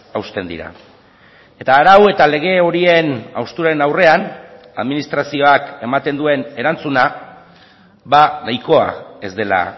hausten dira eta arau eta lege horien hausturaren aurrean administrazioak ematen duen erantzuna nahikoa ez dela